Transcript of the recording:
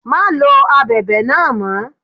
Má lo Abẹ̀bẹ̀ náà mọ́.